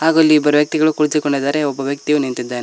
ಹಾಗೂ ಇಲ್ಲಿ ಬರುವ ವ್ಯಕ್ತಿಗಳು ಕುರಿತುಕೊಂಡಿದ್ದಾರೆ ಒಬ್ಬ ವ್ಯಕ್ತಿ ನಿಂತಿದ್ದಾನೆ.